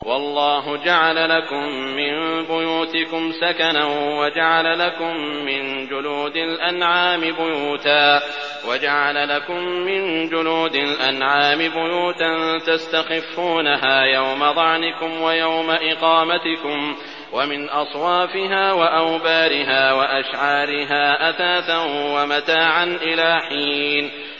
وَاللَّهُ جَعَلَ لَكُم مِّن بُيُوتِكُمْ سَكَنًا وَجَعَلَ لَكُم مِّن جُلُودِ الْأَنْعَامِ بُيُوتًا تَسْتَخِفُّونَهَا يَوْمَ ظَعْنِكُمْ وَيَوْمَ إِقَامَتِكُمْ ۙ وَمِنْ أَصْوَافِهَا وَأَوْبَارِهَا وَأَشْعَارِهَا أَثَاثًا وَمَتَاعًا إِلَىٰ حِينٍ